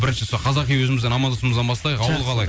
бірінші сұрақ қазақи өзіміздің аманшылығымыздан бастайық ауыл қалай